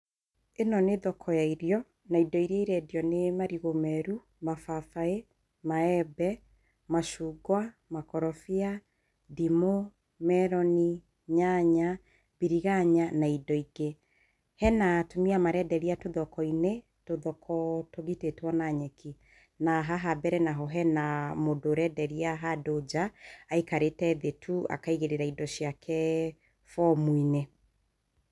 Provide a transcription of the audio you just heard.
Ĩno nĩ thoko ya irio, na indo iria irendio nĩ marigũ meru, mababaĩ, maembe, macungwa, makorobia, ndimũ, merini, nyanya, mbiriganya na indo ingĩ. Hena atumia marenderia tũthoko-inĩ, tũthoko tũgitĩtwo na nyeki, na haha mbere naho he mũndũ ũrenderia handũ nja aikarĩte thĩ tu akaigĩrĩra indo ciake bomu-inĩ.